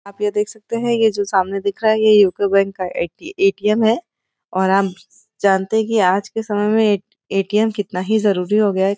आप यह देख सकते हैं ये जो सामने दिख रहा है ये यूको बैंक का ये एटीएम है और हम जानते हैं कि आज के समय में एटीएम कितना ही जरूरी हो गया है |